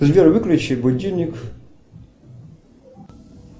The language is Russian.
сбер выключи будильник